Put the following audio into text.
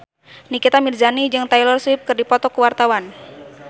Nikita Mirzani jeung Taylor Swift keur dipoto ku wartawan